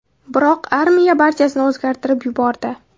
Biroq armiya barchasini o‘zgartirib yubordi.